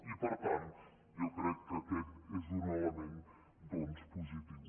i per tant jo crec que aquest és un element doncs positiu